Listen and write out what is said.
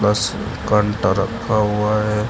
बस कांटा रखा हुआ है।